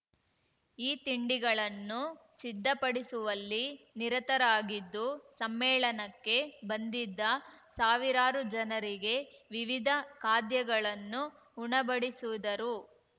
ಈ ತಿಂಡಿಗಳನ್ನು ಸಿದ್ಧಪಡಿಸುವಲ್ಲಿ ನಿರತರಾಗಿದ್ದು ಸಮ್ಮೇಳನಕ್ಕೆ ಬಂದಿದ್ದ ಸಾವಿರಾರು ಜನರಿಗೆ ವಿವಿಧ ಖಾದ್ಯಗಳನ್ನು ಉಣಬಡಿಸಿದರು